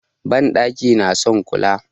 Banɗaki na son kula.